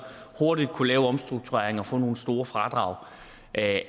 hurtigt kunne lave omstruktureringer og få nogle store fradrag af